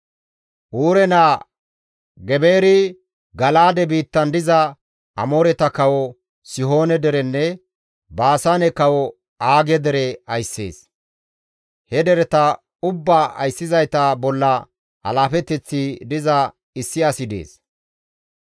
Uure naa Gebeeri Gala7aade biittan diza Amooreta kawo Sihoone derenne Baasaane kawo Aage dere ayssees. He dereta ubbaa ayssizayta bolla alaafeteththi diza issi asi dees.